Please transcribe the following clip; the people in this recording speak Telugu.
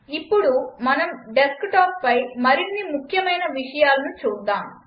ఇప్పుడు మనం డెస్క్టాప్పై మరిన్ని ముఖ్యమైన విషయాలను చూద్దాం